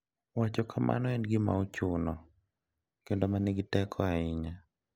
Wacho kamano en gima ochuno kendo manigi teko ahinya.